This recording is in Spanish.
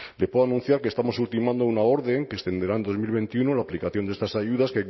le puedo anunciar que estamos ultimando una orden que extenderá en dos mil veintiuno la aplicación de estas ayudas